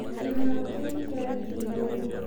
Kĩhaaro kĩu kĩarĩ kĩiyũru.